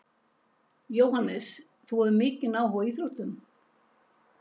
Jóhannes: Þú hefur mikinn áhuga á íþróttum?